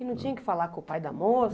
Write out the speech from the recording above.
E não tinha que falar com o pai da moça?